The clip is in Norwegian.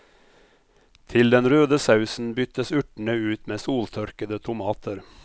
Til den røde sausen byttes urtene ut med soltørkede tomater.